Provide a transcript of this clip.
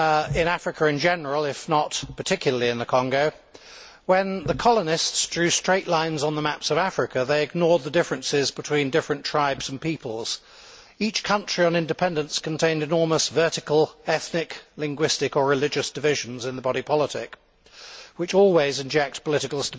In Africa in general, if not particularly in the Congo, when the colonists drew straight lines on the maps of Africa, they ignored the differences between different tribes and peoples. Each country, on independence, contained enormous vertical ethnic, linguistic or religious divisions in the body politic, which always inject political